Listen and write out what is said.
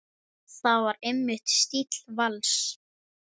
Það var einmitt stíll Vals.